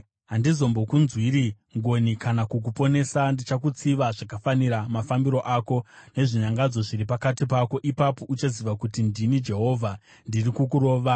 Handizombokunzwiri ngoni kana kukuponesa; ndichakutsiva zvakafanira mafambiro ako nezvinyangadzo zviri pakati pako. Ipapo uchaziva kuti ndini Jehovha ndiri kukurova.